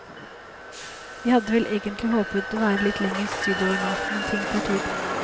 Vi hadde vel egentlig håpet å være litt lenger sydover nå, men ting tar tid.